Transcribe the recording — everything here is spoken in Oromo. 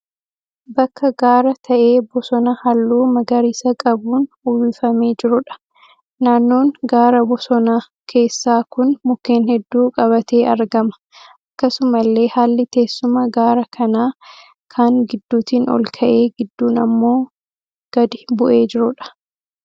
Bakka gaara ta'ee bosona halluu magariisa qabuun uwwifamee jiruudha. Naannoon gaara bosona keessaa kun mukkeen hedduu qabatee argama. Akkasumallee haalli teessuma gaara kanaa kaan gidduutiin olka'ee gidduun immoo gadi bu'ee jiruudha.